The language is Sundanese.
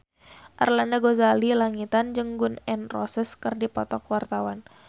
Arlanda Ghazali Langitan jeung Gun N Roses keur dipoto ku wartawan